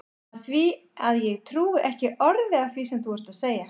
Af því að ég trúi ekki orði af því sem þú ert að segja.